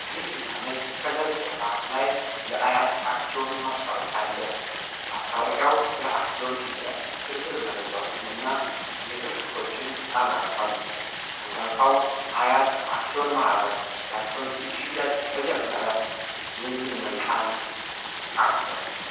በቀይ እና ነጭ ከለር ጀርባ ላይ የአያት አክሲኦን ማስታወቂያ አለ። ማስታወቂያው ስለ አክሲዮን ሽያጭ ዝርዝር መረጃዎችንና የስልክ ቁጥሮችን አብራርቷል። 'አንጋፋው አያት አ.ማ የአክሲዮን ሽያጭ ተጀመረ!' የሚል መሪ ቃል አለ።